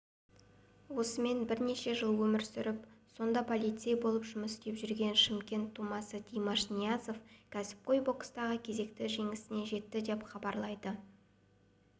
осымен бірнеше жыл өмір сүріп сонда полицей болып жұмыс істеп жүрген шымкент тумасы димаш ниязов кәсіпқой бокстағы кезекті жеңісіне жетті деп хабарлайды